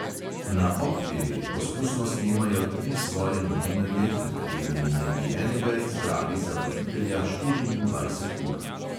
Na pop TV poskusno snemajo tri svoje novinarje, med katerimi naj bi enega izbrali za voditelja štiriindvajset ur.